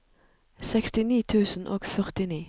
sekstini tusen og førtini